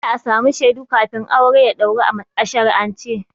Dole a samu shaidu kafin aure ya ɗauru a shari'ance.